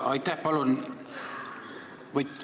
Aitäh!